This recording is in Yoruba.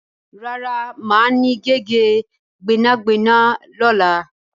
Rárá, máa ní gègé gbẹ́nàgbẹ́nà lọ́la.